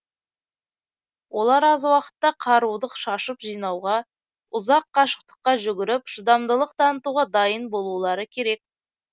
олар аз уақытта қаруды шашып жинауға ұзақ қашықтыққа жүгіріп шыдамдылық танытуға дайын болулары керек